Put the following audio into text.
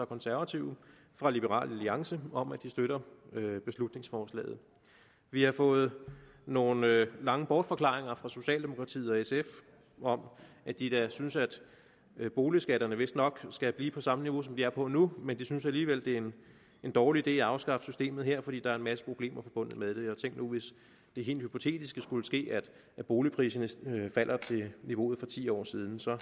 konservative og fra liberal alliance om at de støtter beslutningsforslaget vi har fået nogle lange bortforklaringer fra socialdemokratiet og sf om at de da synes at boligskatterne vistnok skal blive på samme niveau som de er på nu men de synes alligevel det er en dårlig idé at afskaffe systemet her fordi der er en masse problemer forbundet med det og tænk nu hvis det helt hypotetiske skulle ske at boligpriserne faldt til niveauet for ti år siden så